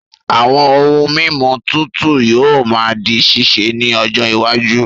Àwọn ohun mímu tuntun yóò máa di ṣíṣe ní ọjọ iwájú